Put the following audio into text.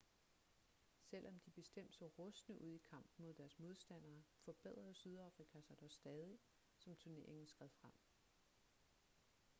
selvom de bestemt så rustne ud i kampen mod deres modstandere forbedrede sydafrika sig dog stadig som turneringen skred frem